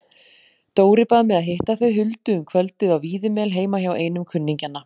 Dóri bað mig að hitta þau Huldu um kvöldið á Víðimel heima hjá einum kunningjanna.